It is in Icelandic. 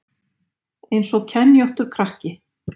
Eins og kenjóttur krakki